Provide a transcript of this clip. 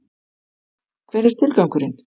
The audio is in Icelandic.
Hver er tilgangurinn?